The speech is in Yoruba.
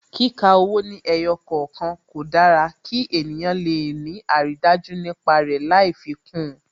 Kíka owó ní ẹyọ kọ̀okan, kò dára kí ènìyàn le ni aridaju nípa rẹ lai fi kún un